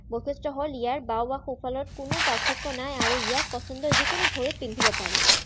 বৈশিষ্ট হল ইয়াৰ বাঁও বা সোঁফালত কোনো পাৰ্থক্য নাই আৰু ইয়াক পচণ্ডৰ যিকোনো ভৰিত পিন্ধিব পাৰি